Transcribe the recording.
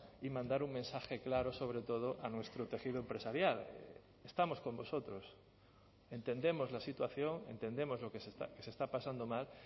y mandar un mensaje claro sobre todo a nuestro tejido empresarial estamos con vosotros entendemos la situación entendemos lo que se está pasando mal